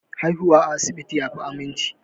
Haihuwa a asibiti yafi aminci